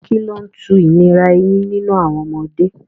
Kí ló ń tu ìnira eyín nínú àwọn ọmọdé?